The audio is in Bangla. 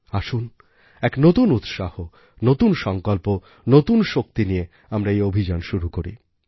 আসুন এক নতুন উৎসাহ নতুন সংকল্প নতুন শক্তি নিয়ে আমরা এই অভিযান শুরু করি